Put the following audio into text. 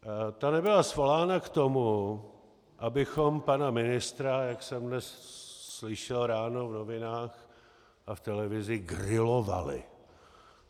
Ta nebyla svolána k tomu, abychom pana ministra, jak jsem dnes slyšel ráno v novinách a v televizi, grilovali.